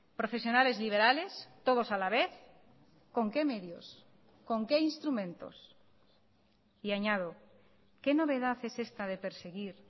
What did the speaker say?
profesionales liberales todos a la vez con qué medios con qué instrumentos y añado qué novedad es esta de perseguir